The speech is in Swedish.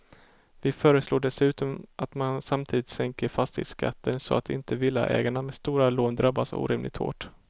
Vi föreslår dessutom att man samtidigt sänker fastighetsskatten så att inte villaägare med stora lån drabbas orimligt hårt.